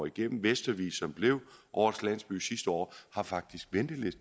igennem vestervig som blev årets landsby sidste år har faktisk